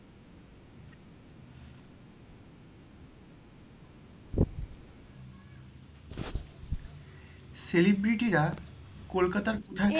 celebrity রা কলকাতার কোথায়,